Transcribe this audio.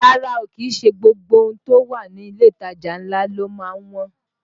Rárá o, kìí ṣe gbogbo ohun tó wà ní ilé ìtajà ńlá ló má ń wọ́n